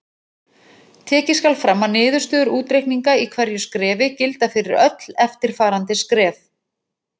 Tekið skal fram að niðurstöður útreikninga í hverju skrefi gilda fyrir öll eftirfarandi skref.